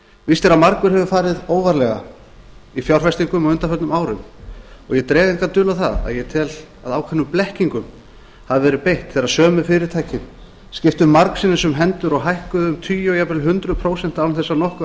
víst er að margur hefur farið óvarlega í fjárfestingum á undanförnum árum og ég dreg enga dul á það að ég tel að ákveðnum blekkingum hafi verið beitt þegar sömu fyrirtækin skiptu margsinnis um hendur og hækkuðu um tugi og jafnvel hundruð prósenta án þess að nokkuð